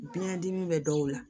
Biyɛn dimi bɛ dɔw la